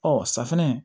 Ɔ safinɛ